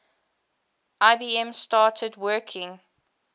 ibm started working